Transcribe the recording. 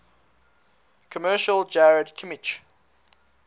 commercial jarred kimchi